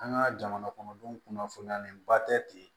An ka jamana kɔnɔdenw kunnafoniyalenba tɛ ten